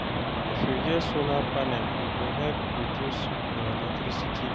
If you get solar panel, e go help reduce your electricity bill.